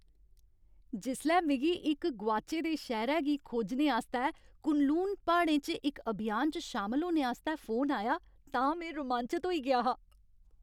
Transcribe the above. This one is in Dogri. जिसलै मिगी इक गोआचै दे शैह्रै गी खोजने आस्तै कुनलून प्हाड़ें च इक अभियान च शामल होने आस्तै फोन आया तां में रोमांचत होई गेआ हा।